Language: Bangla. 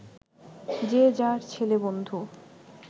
যে যার ছেলেবন্ধু